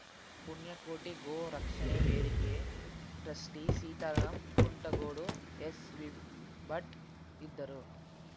ಪುಣ್ಯಕೋಟಿ ಗೋ ರಕ್ಷಣೆ ವೇದಿಕೆ ಟ್ರಸ್ಟಿಸೀತಾರಾಂ ಕುಂಟಗೋಡು ಎಸ್‌ವಿಭಟ್‌ ಇದ್ದರು